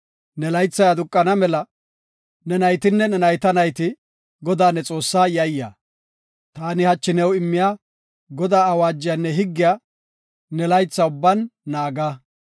Ne laythay aduqana mela ne, ne naytinne ne nayta nayite Godaa ne Xoossaa yayya; ta hachi new immiya Godaa awaajiyanne higgiya ne laytha ubban naaga.